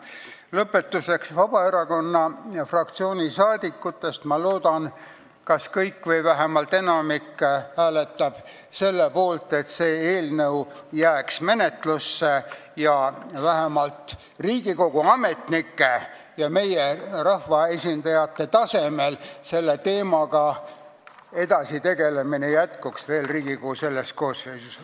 Ma loodan, et Vabaerakonna fraktsiooni saadikutest kas kõik või vähemalt enamik hääletavad selle poolt, et see eelnõu jääks menetlusse ja selle teemaga tegelemine jätkuks vähemalt Riigikogu ametnike ja meie rahvaesindajate tasemel Riigikogu selles koosseisus.